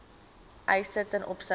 eise ten opsigte